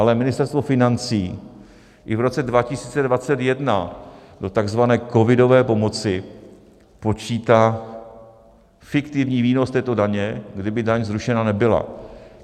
Ale Ministerstvo financí i v roce 2021 do takzvané covidové pomoci počítá fiktivní výnos této daně, kdyby daň zrušena nebyla.